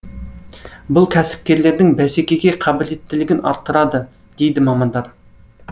бұл кәсіпкерлердің бәсекеге қабілеттілігін арттырады дейді мамандар